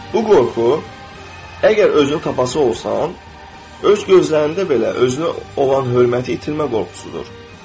Bu qorxu, əgər özünü tapası olsan, öz gözlərində belə özünə olan hörməti itirmə qorxusudur.